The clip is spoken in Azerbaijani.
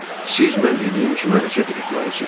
Siz mən dediyim kimi hərəkət etməlisiniz.